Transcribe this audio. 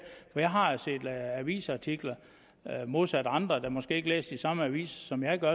for jeg har set avisartikler modsat andre der måske ikke læser de samme aviser som jeg gør